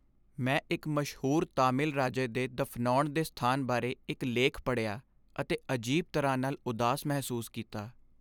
ਮੈਂ ਇੱਕ ਮਸ਼ਹੂਰ ਤਾਮਿਲ ਰਾਜੇ ਦੇ ਦਫ਼ਨਾਉਣ ਦੇ ਸਥਾਨ ਬਾਰੇ ਇੱਕ ਲੇਖ ਪੜ੍ਹਿਆ ਅਤੇ ਅਜੀਬ ਤਰ੍ਹਾਂ ਨਾਲ ਉਦਾਸ ਮਹਿਸੂਸ ਕੀਤਾ।